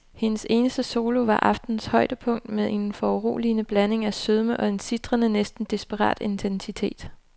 Hendes eneste solo var aftenens højdepunkt med en foruroligende blanding af sødme og en sitrende, næsten desperat intensitet.